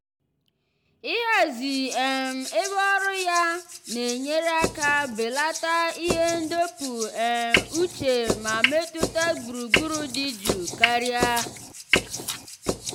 ịhazi um ebe ọrụ ya na-enyere aka belata ihe ndọpụ um uche ma mepụta gburugburu dị jụụ karịa.